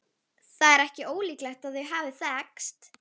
Það er ekki ólíklegt að þau hafi þekkst.